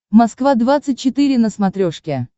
москва двадцать четыре на смотрешке